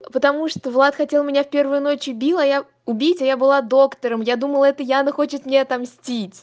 потому что влад хотел меня в первую ночь убила убить а я была доктором я думала это яна хочет мне отомстить